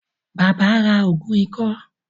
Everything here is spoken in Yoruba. Bàbá ra ògùn ikọ́